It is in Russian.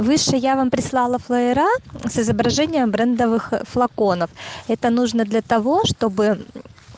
выше я вам прислала флаера с изображением брендовых флаконов это нужно для того чтобы